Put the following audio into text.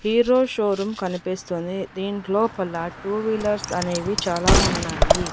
Hero showroom కనిపిస్తోంది దీన్ లోపల టూ వీలర్స్ అనేవి చాలా ఉన్నాయి.